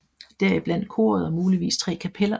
Deriblandt koret og muligvis tre kapeller